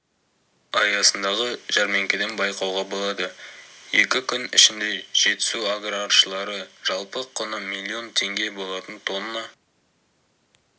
аясындағы жәрмеңкеден байқауға болады екі күн ішінде жетісу аграршылары жалпы құны миллион теңге болатын тонна